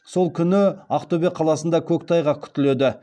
сол күні ақтөбе қаласында көктайғақ күтіледі